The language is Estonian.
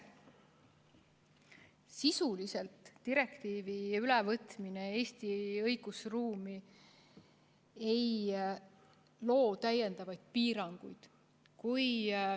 Sisuliselt direktiivi ülevõtmine Eesti õigusruumi ei loo täiendavaid piiranguid.